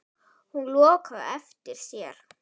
Hún lokaði á eftir sér.